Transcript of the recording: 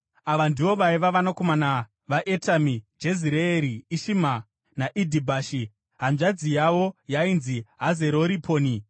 Ava ndivo vaiva vanakomana vaEtami: Jezireeri, Ishima naIdhibashi. Hanzvadzi yavo yainzi Hazereriponi.